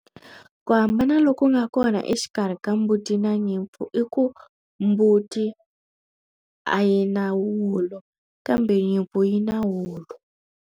Ku hambana loku nga kona exikarhi ka mbuti na nyimpfu i ku mbuti a yi na wool-lo kambe nyimpfu yi na wulo.